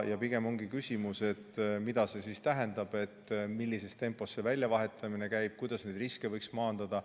Pigem ongi küsimus, mida see siis tähendab, millises tempos see väljavahetamine käib ja kuidas neid riske võiks maandada.